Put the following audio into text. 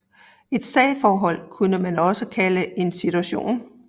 Et sagforhold kunne man også kalde en situation